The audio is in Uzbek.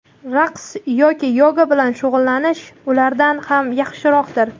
raqs yoki yoga bilan shug‘ullanish ulardan ham yaxshiroqdir.